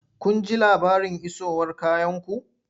Kun ji labarin isowar kayanku?